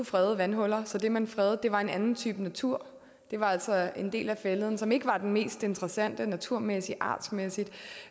frede vandhuller så det man fredede var en anden type natur altså en del af fælleden som ikke var den mest interessante naturmæssigt artsmæssigt